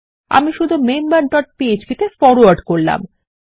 আমি শুধু member dot phpতে ফরওয়ার্ড করব